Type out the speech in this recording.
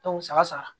saba saba